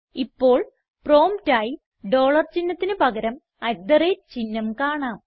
ഇപ്പോൾ പ്രോംപ്റ്റ് ആയി ഡോളർ ചിഹ്നത്തിന് പകരം അട്ട് തെ റേറ്റ് ചിഹ്നം കാണാം